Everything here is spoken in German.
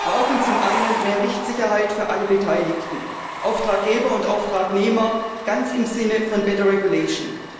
Wir brauchen zum einen mehr Rechtssicherheit für alle Beteiligten, Auftraggeber und Auftragnehmer, ganz im Sinne von better regulation